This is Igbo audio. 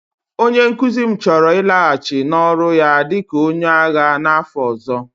Onye nkuzi m chọrọ ịlaghachi n'ọrụ ya dị ka onye agha n'afọ ọzọ